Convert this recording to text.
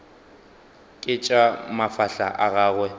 ke tša mafahla a gagwe